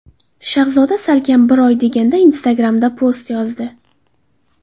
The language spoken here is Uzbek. Shahzoda salkam bir oy deganda Instagram’da post yozdi.